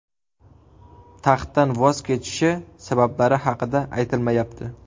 Taxtdan voz kechishi sabablari haqida aytilmayapti.